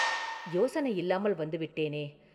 “யோசனை இல்லாமல் வந்து விட்டேனே?